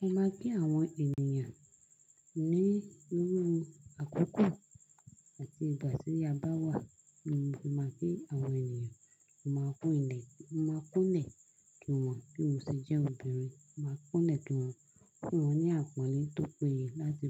Mo máa kí àwọn ènìyàn ní irú àkókò àti ìgbà tí a bá wà lóun tí mo bá kí àwọn ènìyàn. Mo máa kún ilẹ̀, máa kúnlẹ̀ kí wọ́n bí mo ṣe jẹ́ obìnrin. Máa kúnlẹ̀ kí wọ́n, kí wọ́n ní àpọ́nlé tó péye láti